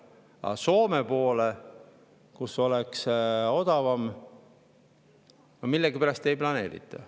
Aga Soome poole, mille puhul oleks odavam, millegipärast seda ei planeerita.